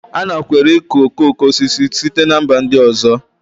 A nakweere ịkụ okoko osisi site na mba ndị ọzọ